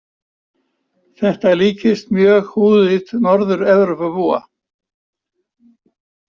Þetta líkist mjög húðlit Norður-Evrópubúa.